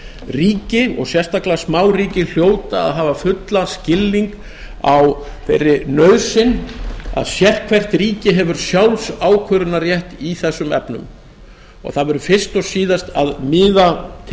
ríki og sérstaklega smáríki hljóta að hafa fullan skilning á þeirri nauðsyn að sérhvert ríki hefur sjálfsákvörðunarrétt í þessum efnum en það verður fyrst og síðast að miða tel